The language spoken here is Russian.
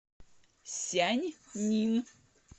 сяньнин